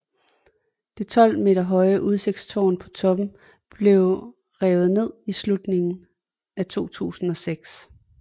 Det 12 meter høje udsigtstårn på toppen blev revet ned i slutningen af 2006